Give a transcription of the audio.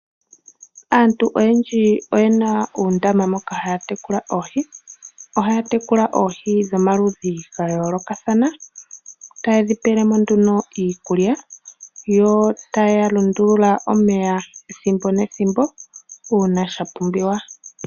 Aantu oyendji oye na uundama moka aantu haya tekula oohi ohaya tekula oohi dhomaludhi ga yoolokathana taye dhi pelemo nduno iikulya yo taya lundulula omeya ethimbo nethimbo uuna sha pumbiwa.